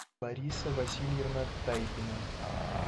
лариса васильевна тайпина